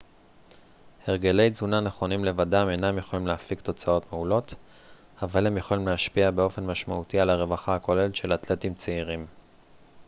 הרגלי תזונה נכונים לבדם אינם יכולים להפיק תוצאות מעולות אבל הם יכולים להשפיע באופן משמעותי על הרווחה הכוללת של אתלטים צעירים